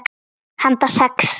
Handa sex